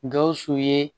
Gawusu ye